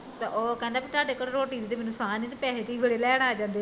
ਉਹ ਕਹਿੰਦਾ ਵੀ ਤੁਹਾਡੇ ਕੋਲ ਰੋਟੀ ਦੀ ਤੇ ਮੈਨੂੰ ਸਾਂ ਨੀ ਜੇ ਤੇ ਪੈਸੇ ਤੁਸੀਂ ਬੜੇ ਲੈਣ ਆ ਜਾਂਦੇ ਓ